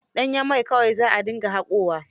Danyen mai kawai za a dinga haƙowa.